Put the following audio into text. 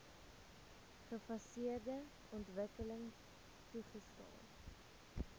gefaseerde ontwikkeling toegestaan